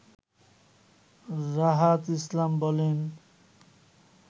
রাহাত ইসলাম বলেন